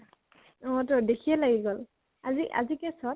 অ তো দেখিয়ে লাগি গʼল । আজি আজি কেই চʼত?